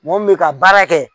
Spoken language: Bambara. Mɔgɔ min mɛ ka baara kɛ.